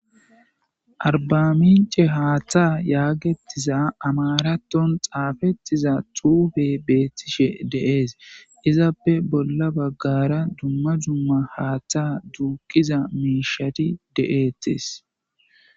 Arbaminc'e haththa yagetiza amaraton xafetiza xuufe betishe de'es izappe bola bagara duma duma haaththa duqiza mishati de'etes.